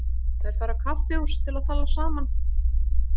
Þær fara á kaffihús til að tala saman.